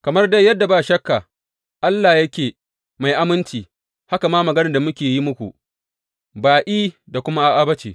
Kamar dai yadda ba shakka Allah yake mai aminci, haka ma maganar da muka yi muku, ba I da kuma A’a ba ce.